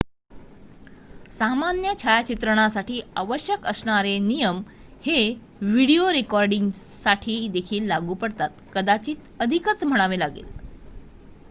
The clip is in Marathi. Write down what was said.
सामान्य छायाचित्रणासाठी आवश्यक असणारे नियम हे व्हिडिओ रेकॉर्डिंगसाठी देखील लागू पडतात कदाचित अधिकच म्हणावे लागेल